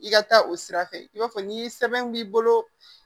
I ka taa o sira fɛ i b'a fɔ ni sɛbɛn b'i bolo